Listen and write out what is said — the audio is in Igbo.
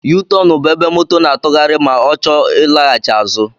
yuutọọnụ bụ ébé moto n'atughari ma ọ chọọ ilaghachi azụ.